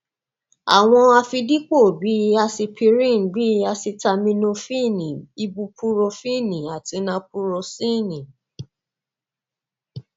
àwọn àfidípò bih i asipiríìnì bí i asitaminofíìnì ibupurofíìnì àti napurọsíìnì